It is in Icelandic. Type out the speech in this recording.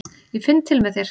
Ég finn til með þér.